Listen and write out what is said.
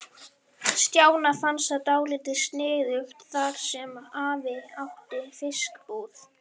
Stjána fannst það dálítið sniðugt þar sem afi átti fiskbúð.